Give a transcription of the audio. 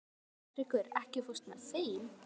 Gautrekur, ekki fórstu með þeim?